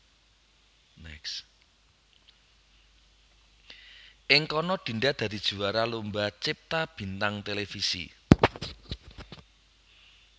Ing kana Dinda dadi juwara Lomba Cipta Bintang Televisi